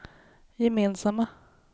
gemensamma